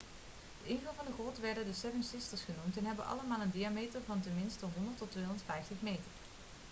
de ingangen van de grot werden the seven sisters' genoemd en hebben allemaal een diameter van ten minste 100 tot 250 meter